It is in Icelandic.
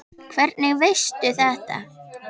Hvernig veistu þetta?